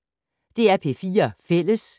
DR P4 Fælles